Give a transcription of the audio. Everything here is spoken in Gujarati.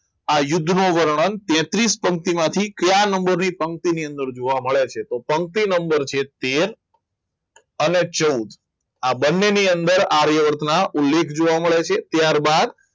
આ યુદ્ધનો વર્ણન તેત્રિસ પંક્તિઓ માંથી ચાર નંબરની પંક્તિઓમાં જોવા મળે છે તો પંક્તિનો નંબર છે તેર અને ચૌદ આ બંનેની અંદર આર્યવર્તના ઉલ્લેખ જોવા મળે છે ત્યારબાદ